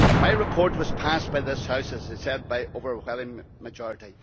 My report was adopted by this House as I said by an overwhelming majority.